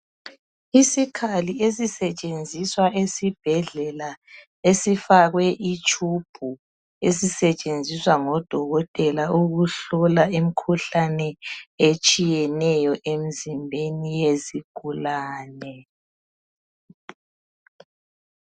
Isikhali esisetshenziswa esibhedlela esifakwe itube esisetshenziswa ngodokotela ukuhlola imikhuhlane etshiyeneyo emzimbeni yezigulane.